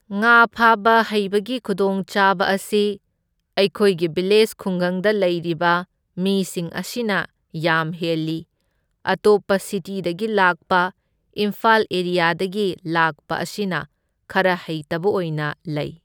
ꯉꯥ ꯐꯥꯕ ꯍꯩꯕꯒꯤ ꯈꯨꯗꯣꯡꯆꯥꯕ ꯑꯁꯤ ꯑꯩꯈꯣꯏꯒꯤ ꯚꯤꯂꯦꯖ ꯈꯨꯡꯒꯪꯗ ꯂꯩꯔꯤꯕ ꯃꯤꯁꯤꯡ ꯑꯁꯤꯅ ꯌꯥꯝ ꯍꯦꯜꯂꯤ, ꯑꯇꯣꯞꯄ ꯁꯤꯇꯤꯗꯒꯤ ꯂꯥꯛꯄ ꯏꯝꯐꯥꯜ ꯑꯦꯔꯤꯌꯥꯗꯒꯤ ꯂꯥꯛꯄ ꯑꯁꯤꯅ ꯈꯔ ꯍꯩꯇꯕ ꯑꯣꯏꯅ ꯂꯩ꯫